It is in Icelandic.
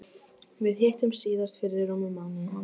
Við hittumst síðast fyrir rúmum mánuði.